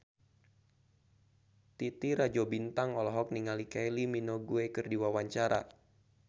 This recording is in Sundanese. Titi Rajo Bintang olohok ningali Kylie Minogue keur diwawancara